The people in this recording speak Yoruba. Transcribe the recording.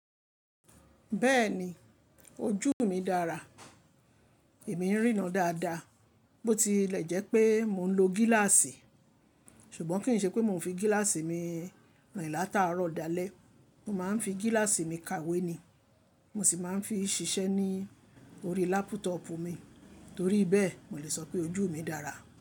Bẹ́ẹ̀ni ojú mi dára, èmi ń ríran dáadáa, bó ti lè jẹ́ pé mò ń lo gíláàsì ṣùgbọ́n kì í ṣe pé mò ń fi gíláàsì mi rìn látàárọ̀ dalẹ́. Mo máa ń fi gíláàsì mi kàwé ni mo sì máa ń fi ṣiṣẹ́ ní orí lápútọ̀ọ̀pù mi, torí bẹ́ẹ̀ mo lè sọ pé ojú mi dára.